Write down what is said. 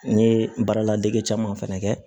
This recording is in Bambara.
N ye n baara ladege caman fana kɛ